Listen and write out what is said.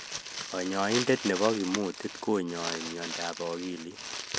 Kanyaindet nebo kimutit konyai miondap akilit